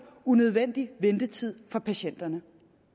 unødvendig ventetid for patienterne